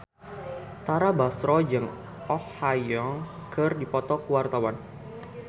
Tara Basro jeung Oh Ha Young keur dipoto ku wartawan